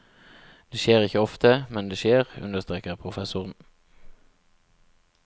Det skjer ikke ofte, men det skjer, understreker professoren.